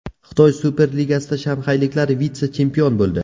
Xitoy Super Ligasida shanxayliklar vitse-chempion bo‘ldi.